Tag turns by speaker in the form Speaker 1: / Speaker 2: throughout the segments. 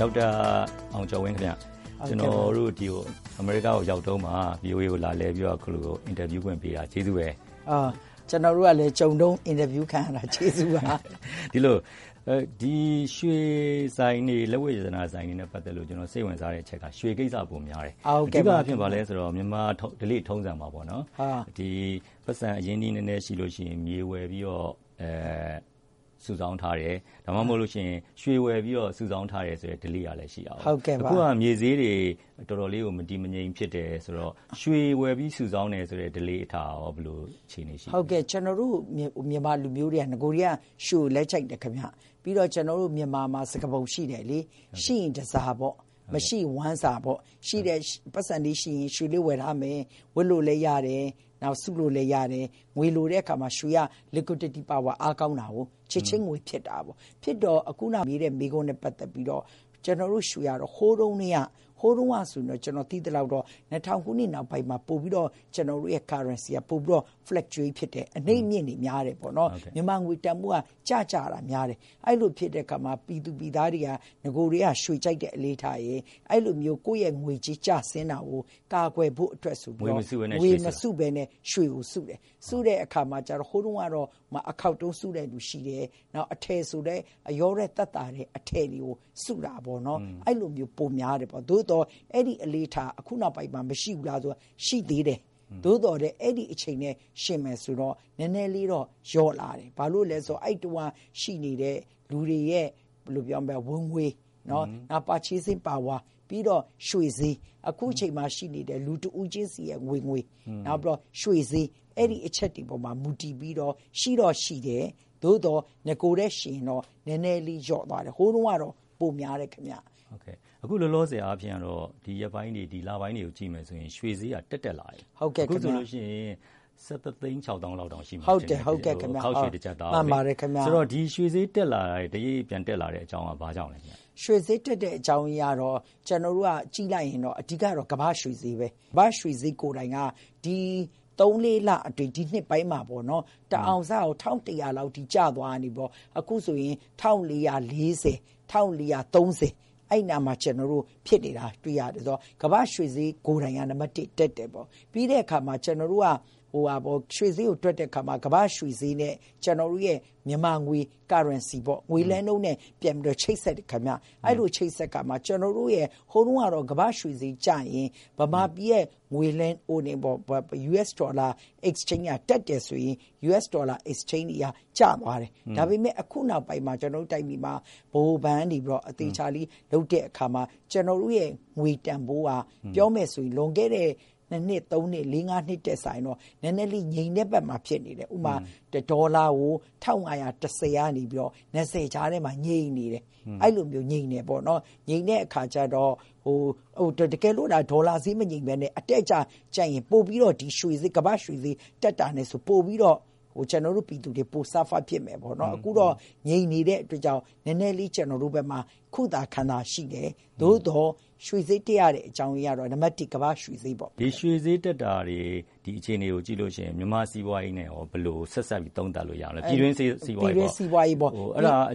Speaker 1: ဒေါက်တာ အောင်ကျော်ဝင်းခင်ဗျ။ အမေရိကားကိုရောက်တုန်းမှာ ဗွီအိုအေကို လာလည်ပြီးတော့ အခုလို တွေ့ဆုံမေးမြန်းခွင့်ပေးတာ ကျေးဇူးပါပဲ။
Speaker 2: ကျနော်တို့ကလည်း ကြုံတုန်းမှာ တွေ့ဆုံမေးမြန်းခံရတာ ကျေးဇူးပါ။
Speaker 1: ဒီလိုပါ။ ရွှေဆိုင်တွေ လက်ဝတ်ရတနာဆိုင်တွေနဲ့ပတ်သက်လို့ ကျနော် စိတ်ဝင်စားတဲ့အချက်က ရွှေကိစ္စပိုများတယ်။ အဓိက အားဖြင့် ဘာလဲဆိုတော့ မြန်မာဓလေ့ထုံးစံမှာ ပိုက်ဆံ အရင်းအနှီး နည်းနည်းရှိလို့ရှိရင် မြေဝယ်ပြီးတော စုဆောင်းထားတယ်။ ဒါမှမဟုတ်လို့ရှိရင် ရွှေဝယ်ပြီးတော့ စုဆောင်းထားတဲ့ ဓလေ့ကလည်း ရှိတဲ့အခါကျတော့ - အခုက မြေဈေးတွေ တော်တော်လေးတွေ မတည်မငြိမ် ဖြစ်တယ်ဆိုတော့ ရွှေဝယ်ပြီး စုဆောင်းတယ်ဆိုတဲ့ အလေ့အထကရော ဘယ်လို အခြေအနေရှိလဲ။
Speaker 2: ဟုတ်ကဲ့ ကျနော်တို့ မြန်မာလူမျိုးတွေက နဂိုကတည်းက ရွှေကိုလည်း ကြိုက်တယ်ခင်ဗျ။ ပြီးတော့ ကျနော်တို့ မြန်မာမှာ စကားပုံရှိတယ်လေ။ ရှိရင်တန်ဆာပေါ့။ မရှိရင် ဝမ်းစာပေါ့။ ရှိတဲ့ ပိုက်ဆံလေးရှိရင် ရွှေလေးဝယ်ထားမယ်။ ဝတ်လို့လည်း ရတယ်။ နောက်..စုလို့လည်း ရတယ်။ ငွေလိုတဲအခါမှာ ရွှေက liquidity power အားကောင်းတာကို။ ချက်ချင်း ငွေဖြစ်တာပေါ့။ ဖြစ်တော့ အခုန မေးတဲ့မေးခွန်းနဲ့ပတ်သက်ပြီးတော့ ကျနော်တို့ ရွှေကတော့ ဟိုးတုန်းကတည်းက၊ ဟိုးတုန်းကဆိုရင်တော့ ကျနော်သိသလောက်တော့ ၂၀၀၀ ခုနှစ်နောက်ပိုင်းမှာ ပိုပြီးတော့ ကျနောတို့ရဲ့ currency က ပိုပြီးတော့ fluctuate ဖြစ်တယ်။ အနိမ့်အမြင့်တွေ များတယ်ပေါ့နော်။ မြန်မာငွေတန်ဖိုးက ကျ သွားတာများတယ်။ အဲ့ဒီလိုဖြစ်တဲ့အခါမှာ ပြည်သူပြည်သားတွေက နဂိုကတည်းက ရွှေကြိုက်တဲ့အနေအထားရယ်၊ အဲ့ဒီလိုမျိုး ကိုယ့်ရဲ့ငွေကြေး ကျဆင်းတာကို ကာကွယ်ဖို့အတွက်ဆိုပြီးတော့ ငွေမစုဘဲနဲ့ ရွှေကိုစုတယ်။ စုတဲ့အခါမှာကျတော့ ဟိုးတုန်းကတော့ အခေါက်တုံး စုတဲ့သူရှိတယ်။ နောက် အထည်ဆိုရင်လည်း အလျော့တွက်သက်သာတဲ့အထည်တွေကို စုတာပေါ့နော်။ အဲ့ဒီလိုမျိုး ပိုများတယ်ပေါ့။ သို့သော် အဲ့ဒီအလေ့အထက အခုနောက်ပိုင်းမှာ မရှိဘူးလားဆိုတော့ ရှိသေးတယ်။ သို့သော်လည်း အဲ့ဒီအချိန်နဲ့ ယှဉ်မယ်ဆိုရင်တော့ နည်းနည်းလေးတော့ လျော့လာတယ်။ ဘာလို့လဲဆိုတော့ အဲ့ဒီတုန်းကရှိနေတဲ့ လူတွေရဲ့ ဝင်ငွေ၊ purchasing power ။ ပြီးတော့ ရွှေဈေး။ အခုချိန်မှာရှိနေတဲ့ လူတဦးချင်းစီရဲ့ ဝင်ငွေ နဲ့ ရွှေ့ဈေး။ အဲ့ဒီအချက်တွေပေါ်မှာမူတည်ပြီးတော့ ရှိတော့ရှိတယ်။ သို့သော် နဂိုနဲ့ယှဉ်ရင်တော့ နည်းနည်းလေးလျော့သွားတယ်။ ဟိုးတုန်းကတော့ ပိုများတယ်ခင်ဗျ။
Speaker 1: အခုလောလောဆယ်အားဖြင့်ကတော့ ဒီရက်ပိုင်းတွေ၊ ဒီလပိုင်းတွေကိုကြည့်မယ်ဆိုရင် ရွှေဈေးက တက် တက်လာတယ်။ အခုဆိုလို့ရှိရင် ၁,၁၆၀,၀၀၀ လောက်တောင် ရှိမယ်ထင်တယ်။ အခေါက်ရွှေတကျပ်သားကို။
Speaker 2: ဟုတ်ပါတယ်။ မှန်ပါတယ်ခင်ဗျ။
Speaker 1: အဲ့ဒီတော့ ဒီရွှေဈေး တရိပ်ရိပ် ပြန်တက်လာတဲ့အကြောင်းက ဘာကြောင့်လဲခင်ဗျ။
Speaker 2: ရွှေဈေးတက်တဲ့အကြောင်းရင်းကတော့ ကျနော်တို့ကကြည့်လိုက်ရင်တော့ အဓိက ကတော့ ကမ္ဘာ့ရွှေဈေးပဲ။ ကမ္ဘာ့ရွှေဈေးကိုယ်တိုင်က ဒီ သုံး-လေးလအတွင်း၊ ဒီနှစ်ပိုင်းမှာပေါ့နော်။ အရင်ကတအောင်စကို ၁,၁၀၀ လောက်အထိ ကျသွားရာကနေ အခုဆိုရင် ၁,၄၄၀၊ ၁,၄၃၀။ အဲ့ဒီအနားမှာ ကျနော်တို့ ဖြစ်နေတာတွေ့ရတယ်ဆိုတော့ ကမ္ဘာ့ရွှေဈေးကိုယ်တိုင်က နံပါတ်တစ် - တက်နေတယ်။ ပြီးတဲ့အခါမှာ ကျနော်တို့က ရွှေဈေးကိုတွက်တဲ့အခါမှာ ကမ္ဘာ့ရွှေဈေးနဲ့ ကျနော်တို့ရဲ့ မြန်မာငွေ currency ပေါ့။ ငွေလဲနှုန်းနဲ့ ပြန်ပြီးတော့ ချိတ်ဆက်တယ်ခင်ဗျ။ အဲ့ဒီလို ချိတ်ဆက်တဲ့အခါမှာ၊ ကျနော်တို့ရဲ့ ဟိုတုန်းကတော့ ကမ္ဘာ့ရွှေဈေးကျရင် မြန်မာပြည်ရဲ့ အမေရိကန်ဒေါ်လာ ငွေလဲနှုန်းက တက်တယ်ဆိုရင် အမေရိကန်ဒေါ်လာငွေလဲနှုန်းအရ ကျသွားတယ်။ ဒါပေမဲ့ အခုနောက်ပိုင်းမှာ ကျနော်တို့ တိုင်းပြည်မှာ ဗဟိုဘဏ်ကနေ အသေအချာလေး လုပ်တဲ့အခါမှာ ကျနော်တို့ရဲ့ ငွေတန်ဖိုးက ပြောမယ်ဆိုရင် လွန်ခဲ့တဲ့ ၂ နှစ်၊ ၃ နှစ်၊ ၄-၅ နှစ်ထက်စာရင်တော့ နည်းနည်းလေး ငြိမ်တဲ့ဘက်မှာဖြစ်နေတယ်။ ဥပမာ - တဒေါ်လာကို ၁,၅၁၀ ကနေ ၁,၅၂၀ ကြားထဲမှာ ငြိမ်နေတယ်။ အဲ့ဒီလိုမျိုး ငြိမ်နေတယ်ပေါ့နော်။ ငြိမ်တဲ့အခါကျတော့ တကယ်လို့သာ ဒေါ်လာဈေးမငြိမ်ဘဲနဲ့ အတက်အကျ ဖြစ်ရင် ပိုပြီးတော့ ကမ္ဘာ့ရွှေဈေး တက်တာနဲ့ဆိုရင် ကျနော်တို့ပြည်သူတွေ ပိုပြီးတော့ suffer ဖြစ်မယ်ပေါ့နော်။ အခုတော့ ငြိမ်နေတဲ့အတွက်ကြောင့် နည်းနည်းလေး ကျနော်တို့ဘက်မှာ ခုသာခံသာရှိတယ်။ သို့သော် ရွှေဈေးတက်ရတဲ့အကြောင်းရင်းကတော့ နံပါတ်တစ် ကမ္ဘာ့ရွှေဈေးပေါ့။
Speaker 1: ရွှေဈေးတက်တာတွေ၊ ဒီအခြေအနေတွေကို ကြည့်လို့ရှိရင် မြန်မာ့စီးပွားရေးနဲ့ရော ဘယ်လို ဆက်စပ်သုံးသပ်လို့ရမလဲ။ ပြည်တွင်းစီးပွားရေးပေါ့။ အဲ့ဒါက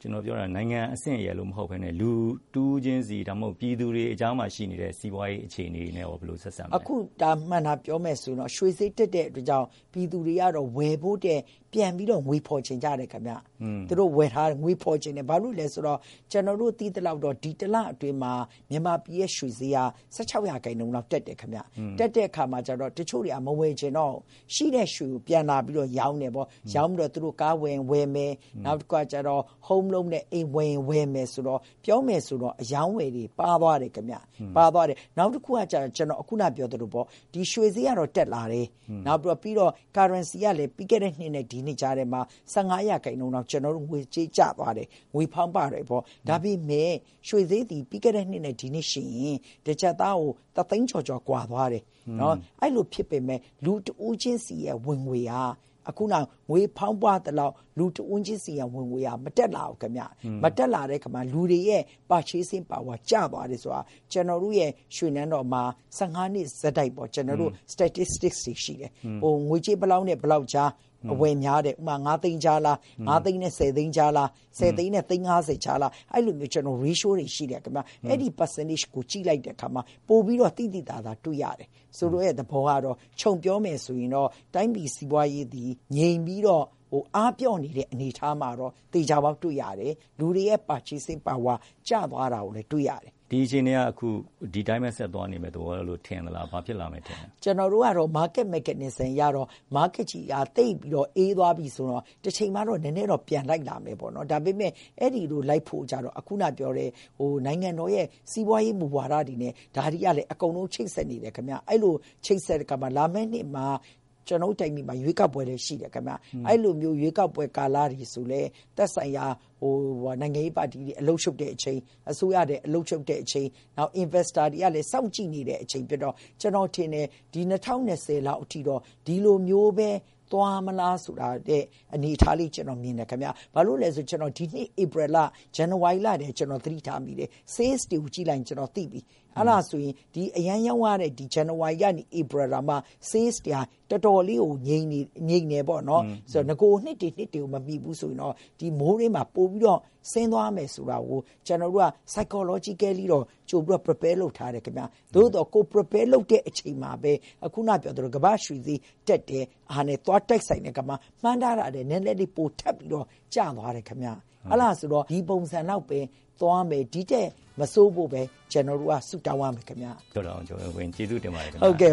Speaker 1: ကျနော်ပြောတာက နိုင်ငံအဆင့်ရယ်လို့မဟုတ်ဘဲနဲ့ လူတဦးချင်းစီ၊ ဒါမှမဟုတ် ပြည်သူတွေအကြားမှာ ရှိနေတဲ့ စီးပွားရေး အခြေအနေနဲ့ရော ဘယ်လို ဆက်စပ်မလဲ။
Speaker 2: အခု ဒါ မှန်တာပြောမယ်ဆိုရင်တော့ ရွှေဈေးတက်တဲ့အတွက်ကြောင့် ပြည်သူတွေကတော့ ဝယ်ဖို့ထက် ပြန်ပြီးတော့ ငွေဖော်ချင်ကြတယ်ခင်ဗျ။ သူတို့ဝယ်ထားတာကို ငွေဖော်ချင်ကြတယ်။ ဘာလို့လဲဆိုတော့ ကျနော်တို့ သိသလောက်တော့ ဒီတလအတွင်းမှာ မြန်မာပြည်ရဲ့ ရွှေဈေးက ၁၆ % လောက်တက်တယ်ခင်ဗျ။ တက်တဲ့အခါမှာကျတော့ တချို့တွေက မဝယ်ချင်တော့ဘူး။ ရှိတဲ့ရွှေကို ပြန်လာပြီးတော့ ရောင်းကြတယ်။ ရောင်းပြီးတော့ သူတို့ ကားဝယ်ရင်ဝယ်မယ်။ နောက်တခုကကျတော့ home loan ယူပြီး အိမ်ဝယ်ရင်ဝယ်မယ်ဆိုတော့ ပြောမယ်ဆိုရင်တော့ အရောင်းအဝယ်တွေ ပါးသွားတယ်ခင်ဗျ။ နောက်တခုကကျတော့ ကျနော် ခုနကပြောသလိုပေါ့ ရွှေဈေးကတော့ တက်လာတယ်။ ငွေဈေးကလည်း ပြီးခဲ့တဲ့နှစ်နဲ့ ဒီနှစ်ကြားထဲမှာ ၁၅ % လောက် ငွေဈေးကျသွားတယ်။ ငွေဖောင်းပွတယ်ပေါ့။ ဒါပေမဲ့ ရွှေဈေးသည် ပြီးခဲ့တဲ့နှစ်နဲ့ ဒီနှစ်ယှဉ်ရင် တကျပ်သားကို တသိန်းကျော်ကျော် ကွာသွားတယ်။ အဲ့ဒီလိုဖြစ်ပေမဲ့ လူတဦးချင်းစီရဲ့ ဝင်ငွေက ခုနက ငွေဖောင်းပွသလောက် လူတဦးချင်းစီရဲ့ ဝင်ငွေက မတက်လာဘူးခင်ဗျ။ မတက်လာတော့ လူတွေရဲ့ ဝယ်လိုအား ကျသွားတယ်ဆိုတာ ကျနော်တို့ရဲ့ ရွှေနန်းတော်မှာ ၁၅ နှစ်ဆက်တိုက်ပေါ့ Statistic တွေရှိတယ်။ ငွေကြေး ဘယ်လောက်နဲ့ ဘယ်လောက်အကြား အဝယ်များတယ်။ ဥပမာ - ၅ သိန်းကြားလား။ ၅ သိန်းနဲ့ ၁၀ သိန်းကြားလား။ ၁၀ သိန်းနဲ့ သန်း ၅၀ ကြားလား။ အဲ့ဒီလို ratio တွေ ရှိတယ်။ အဲ့ဒီ ရာခိုင်နှုန်းတွေကို ကြည့်လိုက်တဲ့အခါမှာ ပိုပြီးတော့ သိသိသာသာ တွေ့ရတယ်။ ဆိုလိုတဲ့သဘောကတော့ ခြုံပြောမယ်ဆိုရင်တော့ တိုင်းပြည်စီးပွားရေးသည် ငြိမ်ပြီးတော့ အားပျော့နေတဲ့ အနေအထားမှာတော့ သေချာပေါက် တွေ့ရတယ်။ လူတွေရဲ့ ဝယ်လိုအား ကျသွားတာကိုလည်း တွေ့ရတယ်။
Speaker 1: ဒီအခြေအနေက ဒီအတိုင်းပဲ ဆက်သွားနေမယ့်သဘောလို့ထင်လား။ ဘာဖြစ်လာမယ်လို့ထင်လဲ။
Speaker 2: ကျနော်တို့ကတော့ market mechanism အရကတော့ market ကြီးက သိပ်ပြီးအေးသွားပြီ ဆိုရင်တော့ တချိန်မှာတော့ နည်းနည်းတော့ ပြန်လိုက်လာမယ်ပေါ့နော်။ ဒါပေမဲ့ အဲ့ဒီလို လိုက်ဖို့ကျတော့ အခုနပြောတဲ့ နိုင်ငံတော်ရဲ့ စီးပွားရေးမူဝါဒတွေနဲ့ ဒါတွေကလည်း အကုန်လုံး ချိတ်ဆက်နေတယ်ခင်ဗျ။ အဲ့ဒီလိုချိတ်ဆက်တဲ့အခါမှာ လာမယ့်နှစ်မှာ ကျနော်တို့တိုင်းပြည်မှာ ရွေးကေက်ပွဲလည်း ရှိတယ်ခင်ဗျ။ အဲ့ဒီလို ရွေးကောက်ပွဲကာလတွေဆိုရင်လည်း သက်ဆိုင်ရာ နိုင်ငံရေးပါတီတွေ အလုပ်ရှုပ်တဲ့အချိန်။ အစိုးရလည်း အလုပ်ရှုပ်တဲ့အချိန်။ နောက် ရင်းနှီးမြှုပ်နှံသူတွေကလည်း စောင့်ကြည့်နေတဲ့အချိန်ဖြစ်တော့ ကျနော်ထင်တယ်။ ဒီ ၂၀၂၀ လောက်အထိတော့ ဒီလိုမျိုးပဲ သွားမလားဆိုတဲ့အနေအထားလေး ကျနော် မြင်တယ်ခင်ဗျ။ ဘာလို့လဲဆိုတော့ ကျနော် ဒီနှစ် ဧပြီ၊ ဇန်နဝါရီလလောက်ကတည်းက ကျနော် သတိထားမိတယ်ခင်ဗျ။ ရောင်းရတာတွေကို ကြည့်လိုက်ရင် ကျနော် သိပြီ။ အဲ့ဒါဆိုရင် အရမ်းရောင်းရတဲ့ ဇန်နဝါရီကနေ ဧပြီ တောင်မှ ရောင်းအားက တော်တော်လေးကို ငြိမ်တယ်ပေါ့နော်။ နဂိုနှစ်တွေ နှစ်တွေကို မမီဘူးဆိုရင်တော့ ဒီမိုးတွင်းမှာ ပိုပြီးတော့ ဆင်းသွားမယ်ဆိုတာကို ကျနော်တို့က စိတ်ပိုင်းဆိုင်ရာအရတော့ ကြိုပြီးတော့ ပြင်ထားတယ်ခင်ဗျ။ သို့သော် ကိုယ်ပြင်ဆင်ထားတဲ့အချိန်မှာပဲ အခုနပြောသလို ကမ္ဘာ့ရွှေဈေးကလည်း တက်တဲ့အခါနဲ့ သွားတိုက်ဆိုင်တဲ့အခါမှာ မှန်းထားတာထက် နည်းနည်းလေး ပိုထက်ပြီးတော့ ကျသွားတယ်ခင်ဗျ။ အဲ့ဒါဆိုတော့ ဒီပုံစံလောက်ပဲ သွားမယ်၊ ဒီ့ထက်မဆိုးဖို့ပဲ ကျနော်တို့က ဆုတောင်းရမယ်ခင်ဗျ။
Speaker 1: ဒေါက်တာအောင်ကျော်ဝင်း ကျေးဇူးတင်ပါတယ်ခင်ဗျ။
Speaker 2: ဟုတ်ကဲ့